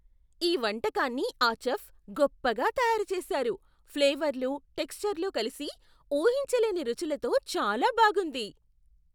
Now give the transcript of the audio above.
ఈ వంటకాన్ని ఆ చెఫ్ గొప్పగా తయారు చేశారు, ఫ్లేవర్లు, టెక్ష్చర్లు కలిసి ఊహించలేని రుచులతో చాలా బాగుంది.